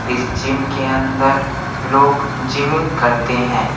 इस जिम के अंदर लोग जिमिंग करते हैं।